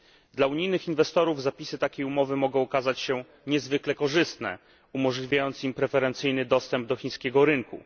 Dla unijnych inwestorów zapisy takiej umowy mogą okazać się niezwykle korzystne, umożliwiając im preferencyjny dostęp do chińskiego rynku.